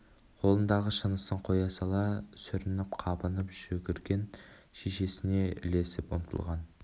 қолындағы шынысын ұстелге қоя сала сүрініп-қабынып жүгірген шешесіне ілесіп ұмтылған